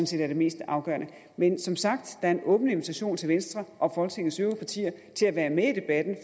set er det mest afgørende men som sagt er der en åben invitation til venstre og folketingets øvrige partier til at være med i debatten